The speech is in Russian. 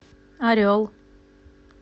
орел